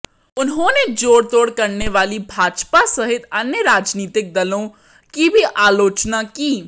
उन्होंने जोड़तोड़ करने वाली भाजपा सहित अन्य राजनीतिक दलों की भी आलोचना की